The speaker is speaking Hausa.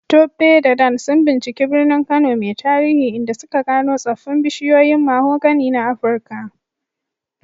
Tope da Dan sun binciki birnin Kano mai tarihi, inda suka gano tsoffin bishiyoyin mahogany na Afirka.